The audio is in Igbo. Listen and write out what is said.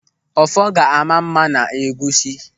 Ọfọ ga-ama mma n'egwusi.